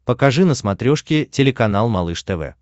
покажи на смотрешке телеканал малыш тв